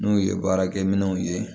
N'u ye baarakɛ minɛnw ye